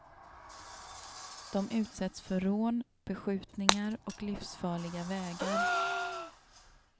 De utsätts för rån, beskjutningar och livsfarliga vägar.